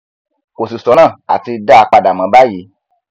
kò sì sọnà àti dá a padà mọ báyìí